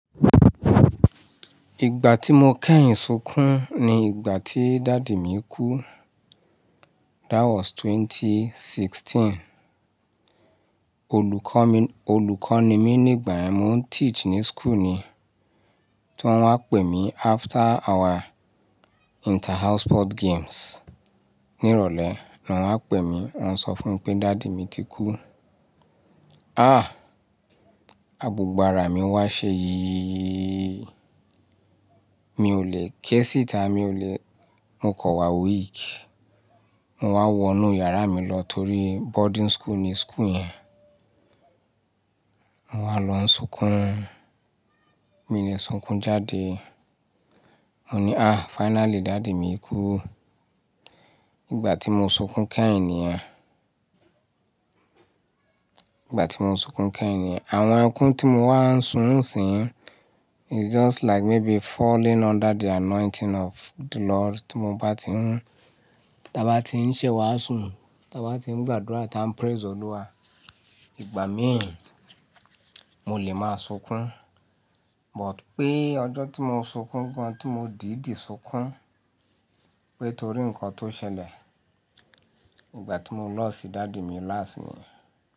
Ìgbà tí mo kẹ́yìn sunkún ni ìgbà tí daddy mi kú. That was 2016. Olùkọ́ mi, olùkọ́ ni mí nígbà yẹn, mo ń teach ní school ni. Tí wọ́n wá maa n pè ní after our inter house sport games. Ní ìrọ̀lẹ́ ni wọ́n pè mí, wọ́n ń sọ fún mi pé daddy mi ti kú. Ah! Abùgbàrá mi wá ṣé yì yì yì. Mi ò lè ké síta mi o lè Mo kọ̀ wá week. Mo wá wọnú yàrá mi lọ torí boarding school ni school yẹn. Mo wá lọ n sunkún. Mi lè sunkún jáde. Mo ni àh finally dádì mi kú. Ìgbà tí mo sunkún kẹ́yìn niyen. Ìgbà tí mo sunkún kẹ́yìn ni àn. Àwon ẹkún tí mo wá n sun nisìn yì is just like maybe falling under the anointing of the lord tí mo bá ti n, ta bá ti n ṣe wàásù ta bá ti n gbádùnrà ta n praise olúwa. Ìgbà míì mo lè máa sunkún. But pé ọjọ́ tí mo sunkún gan, tí mo dìdí sunkún pé torí nǹkan tó ṣẹlẹ̀, ìgbà tí mo lọọ̀ sí daddy mi láàsín mi.